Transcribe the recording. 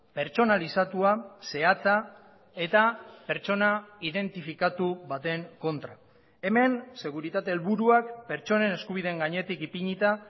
pertsonalizatua zehatza eta pertsona identifikatu baten kontra hemen seguritate helburuak pertsonen eskubideen gainetik ipinita